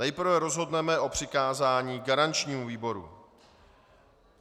Nejprve rozhodneme o přikázání garančnímu výboru.